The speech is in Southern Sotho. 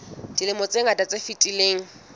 dilemong tse ngata tse fetileng